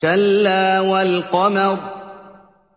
كَلَّا وَالْقَمَرِ